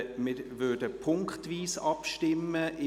Wir würden punktweise abstimmen.